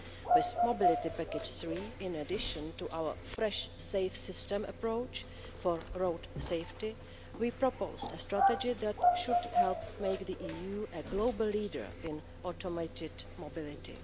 With Mobility Package III, in addition to our fresh, safe system approach for road safety, we proposed a strategy that should help make the EU a global leader in automated mobility.